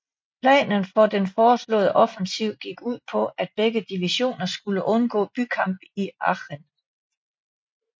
Planen for den forestående offensiv gik ud på at begge divisioner skulle undgå bykamp i Aachen